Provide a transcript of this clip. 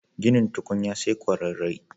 Ginin tukunya sai ƙwararre.